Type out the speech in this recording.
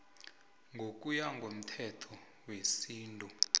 ngokuya komthetho wesintu